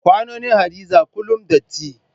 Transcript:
Kwanonin Hadiza kullum datti.